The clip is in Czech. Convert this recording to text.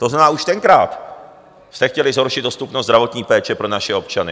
To znamená, už tenkrát jste chtěli zhoršit dostupnost zdravotní péče pro naše občany.